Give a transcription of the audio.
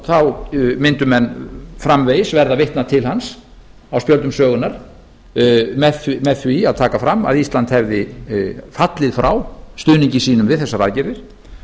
þá mundu menn framvegis verða að vitna til hans á spjöldum sögunnar með því að taka fram að ísland hefði fallið frá stuðningi sínum við þessar aðgerðir